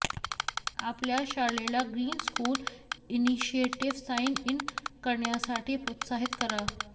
आपल्या शाळेला green school initiative sign in करण्यासाठी प्रोत्साहित करा